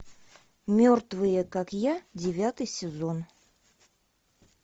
мертвые как я девятый сезон